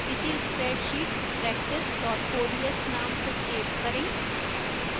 इसे spreadsheetpractice ods name से save करें